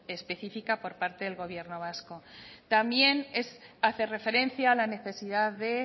específica por parte del gobierno vasco también hace referencia a la necesidad de